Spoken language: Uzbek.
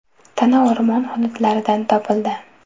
Tana o‘rmon hududlaridan topildi.